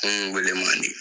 weele man di